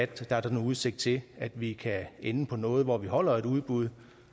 der er der nu udsigt til at vi kan ende på noget hvor vi holder et udbud